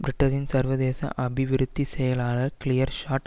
பிரிட்டனின் சர்வதேச அபிவிருத்தி செயலாளர் கிளேர் ஷோர்ட்